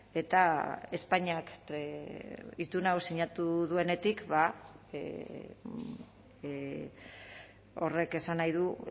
eta espainiak itun hau sinatu duenetik horrek esan nahi du